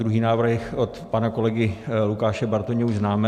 Druhý návrh od pana kolegy Lukáše Bartoně už známe.